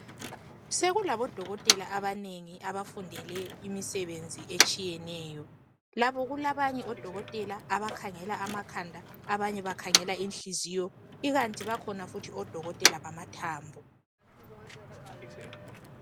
Sekulabo dokotela abanengi abafundele imisebenzi etshiyeneyo labo kulabanye odokotela abakhangela amakhanda abanye bakhangela ihliziyo ikanti bakhona futhi odokotela bamathambo